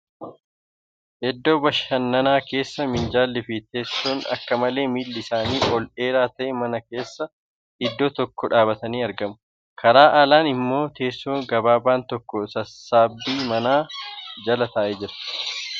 Iddoo bashannaa keessa minjaalli fi teessoon akka malee miilli isaanii ol dheeraa ta'e mana keessa iddoo tokko dhaabbatanii argamu. Karaa alaan immoo teessoon gabaabaan tokko sissaabbii manaa jala taa'ee jira.